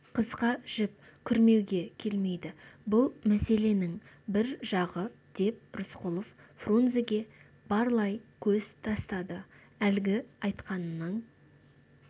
қысқа жіп күрмеуге келмейді бұл мәселенің бір жағы деп рысқұлов фрунзеге барлай көз тастады әлгі айтқанының